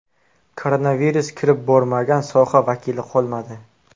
Koronavirus kirib bormagan soha vakili qolmadi.